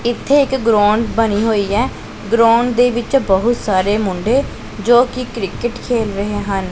ਇੱਥੇ ਇੱਕ ਗਰਾਊਂਡ ਬਨੀ ਹੋਈ ਹੈ ਗਰਾਊਂਡ ਦੇ ਵਿੱਚ ਬਹੁਤ ਸਾਰੇ ਮੁੰਡੇ ਜੋਕੀ ਕ੍ਰਿਕਿੱਟ ਖੇਲ ਰਹੇ ਹਨ।